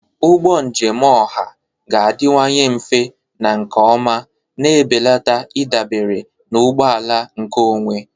Ụgbọ njem ọha ga-adịwanye mfe na nke ọma, na-ebelata ịdabere na ụgbọ ala nkeonwe.